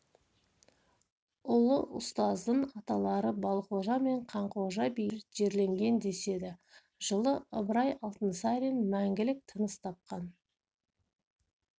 ұлы ұстаздың аталары балқожа мен қанқожа билер жерленген деседі жылы ыбырай алтынсарин мәңгілік тыныс тапқан